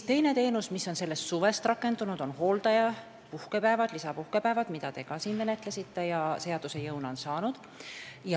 Teine teenus, mis on sellest suvest rakendunud, on hooldajale lisapuhkepäevade võimaldamine, mida te ka siin menetlesite ja mis on seaduse jõu saanud.